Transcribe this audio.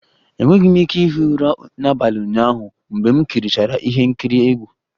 Enweghị m ike ihi ụra n'abalị ụnyaahụ mgbe m kirichara ihe nkiri egwu